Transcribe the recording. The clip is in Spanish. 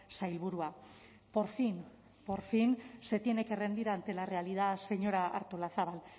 sailburua por fin por fin se tiene que rendir ante la realidad señora artolazabal